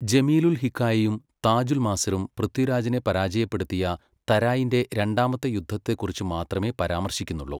ജമീലുൽ ഹിക്കായയും താജുൽ മാസിറും പൃഥ്വിരാജിനെ പരാജയപ്പെടുത്തിയ തരായിന്റെ രണ്ടാമത്തെ യുദ്ധത്തെക്കുറിച്ച് മാത്രമേ പരാമർശിക്കുന്നുള്ളൂ.